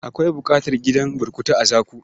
Akwai buƙatar gidan burkutu a Zaku.